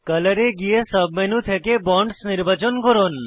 colour এ গিয়ে sub menu থেকে বন্ডস নির্বাচন করুন